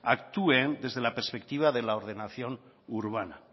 actúen desde la perspectiva de la ordenación urbana